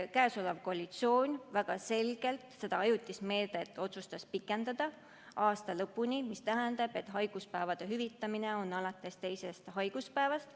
See koalitsioon väga selgelt seda ajutist meedet otsustas pikendada aasta lõpuni, mis tähendab, et haiguspäevad hüvitatakse teisest haiguspäevast.